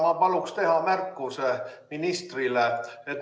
Ma paluks teha ministrile märkuse.